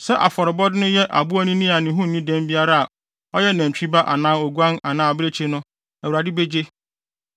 sɛ afɔrebɔde no yɛ aboanini a ne ho nni dɛm biara a ɔyɛ nantwi ba anaa oguan anaa abirekyi no, Awurade begye.